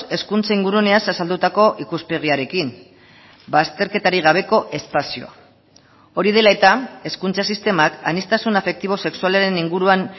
hezkuntza inguruneaz azaldutako ikuspegiarekin ba azterketarik gabeko espazioa hori dela eta hezkuntza sistemak aniztasun afektibo sexualaren inguruan